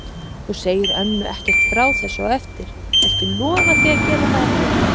Þú segir ömmu ekkert frá þessu á eftir. viltu lofa því að gera það ekki?